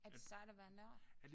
Er det sejt at være nørd?